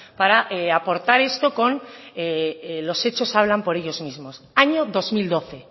para aportar esto con los hechos hablan por ellos mismos año dos mil doce